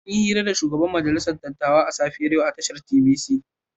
An yi hira da shugaban majalisar dattawa a safiyar yau a tashar TVC.